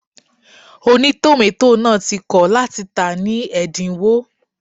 Ònítòmátò náà ti kọ̀ láti tàá ní ẹ̀dínwó